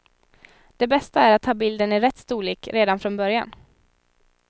Det bästa är att ha bilden i rätt storlek redan från början.